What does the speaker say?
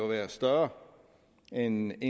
være større end